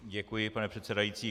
Děkuji, pane předsedající.